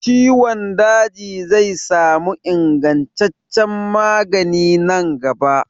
Ciwon daji zai sami ingantaccen magani nan gaba.